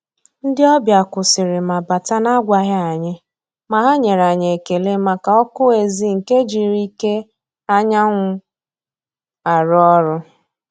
Ndị́ ọ́bị̀à kwụ́sị́rị̀ mà bátà nà-ágwàghị́ ànyị́, mà hà nyèrè ànyị́ ékélé màkà ọ́kụ́ ézì nke jírí íké ányà nwụ́ àrụ́ ọ́rụ́.